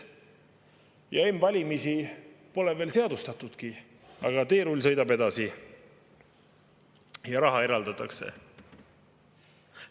M-valimisi pole veel seadustatudki, aga teerull sõidab edasi ja raha eraldatakse.